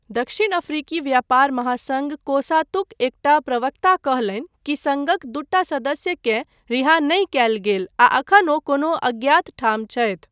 दक्षिण अफ्रीकी व्यापार महासङ्घ कोसातुक एकटा प्रवक्ता कहलनि कि सङ्घक दूटा सदस्यकेँ रिहा नहि कयल गेल आ एखन ओ कोनो अज्ञात ठाम छथि।